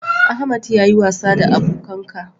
Ahmad yi wasa da abokanka